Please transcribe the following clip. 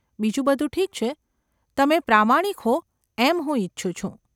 બીજું બધું ઠીક છે, તમે પ્રામાણિક હો એમ હું ઈચ્છું છું.